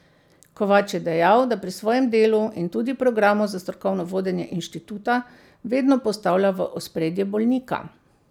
Kovač je dejal, da pri svojem delu in tudi programu za strokovno vodenje inštituta vedno postavlja v ospredje bolnika.